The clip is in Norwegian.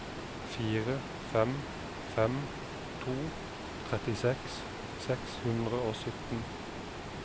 fire fem fem to trettiseks seks hundre og sytten